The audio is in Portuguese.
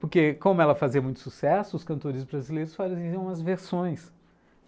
Porque como ela fazia muito sucesso, os cantores brasileiros faziam as versões.